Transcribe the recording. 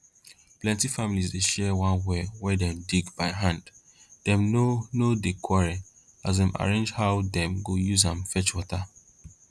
plenty families dey share one well wey dem dig by hand dem no no dey quarrel as dem arrange how dem go use am fetch water